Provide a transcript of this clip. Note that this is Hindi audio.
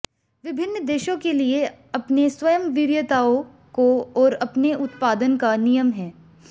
विभिन्न देशों के लिए अपने स्वयं वरीयताओं को और अपने उत्पादन का नियम है